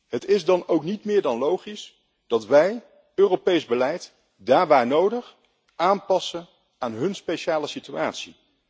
Het is dan ook niet meer dan logisch dat wij Europees beleid, daar waar nodig, aanpassen aan hun speciale situatie.